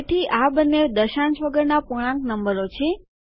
તેથી આ બંને દશાંશ વગરના પૂર્ણાંક નંબરો છે